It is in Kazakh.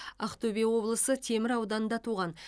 ақтөбе облысы темір ауданында туған